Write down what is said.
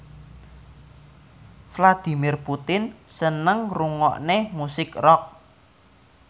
Vladimir Putin seneng ngrungokne musik rock